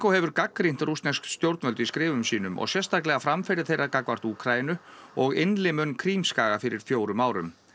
hefur gagnrýnt rússnesk stjórnvöld í skrifum sínum og sérstaklega framferði þeirra gagnvart Úkraínu og innlimun Krímskaga fyrir fjórum árum